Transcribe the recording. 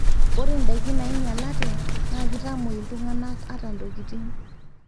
ore ndaiki naainyalate naa keitomwoi iltungana ata ntokitin